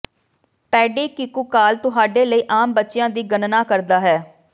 ਪੇਡੀ ਕੁਿਕਕਾਲ ਤੁਹਾਡੇ ਲਈ ਆਮ ਬੱਚਿਆਂ ਦੀ ਗਣਨਾ ਕਰਦਾ ਹੈ